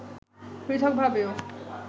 পৃথক ভাবেও